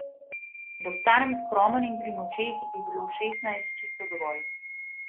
Da ostanem skromen in pri močeh, bi bilo šestnajst čisto dovolj.